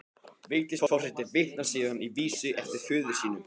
Vigdís forseti vitnar síðan í vísu eftir föður sinn